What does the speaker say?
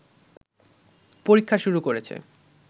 পরীক্ষা শুরু করেছে